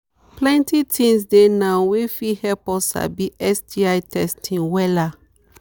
plenty things dey now wey fit help us sabi sti testing wella